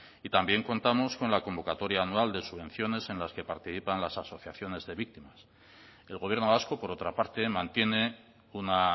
y también contamos con la convocatoria anual de subvenciones en las que participan las asociaciones de víctimas el gobierno vasco por otra parte mantiene una